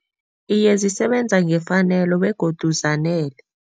Iye, zisebenza ngefanelo begodu zanele.